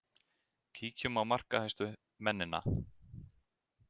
Kíkjum á markahæstu mennina.